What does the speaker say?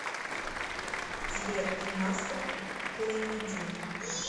сбер масса клонидин